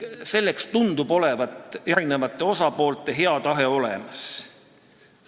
Selleks tundub erinevate osapoolte hea tahe olemas olevat.